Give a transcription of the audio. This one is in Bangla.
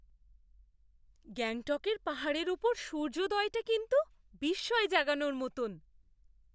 গ্যাংটকের পাহাড়ের ওপর সূর্যোদয়টা কিন্তু বিস্ময় জাগানোর মতন!